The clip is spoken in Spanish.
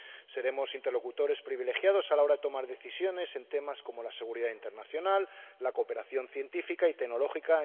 Seremos interlocutores privilegiados a la hora de tomar decisiones en temas como la seguridad internacional, la cooperación científica y tecnológica